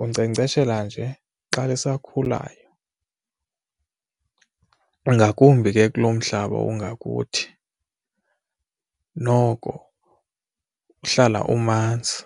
Unkcenkceshela nje xa lisakhulayo, ngakumbi ke kulo mhlaba ungakuthi noko uhlala umanzi.